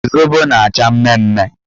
Zobo na-acha mmemme